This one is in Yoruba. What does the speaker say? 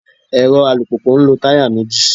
Èrọ alùpùpù ń lo táyà méjì.